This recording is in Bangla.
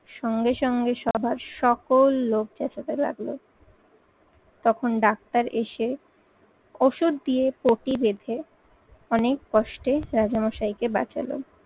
সঙ্গে সঙ্গে সভার সকল লোক চ্যাঁচাতে লাগলো। তখন ডাক্তার এসে ওষুধ দিয়ে পটি বেঁধে অনেক কষ্টে রাজামশাইকে বাঁচালো।